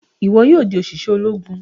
Ìwo yóò dì oṣiṣẹ Ológùn!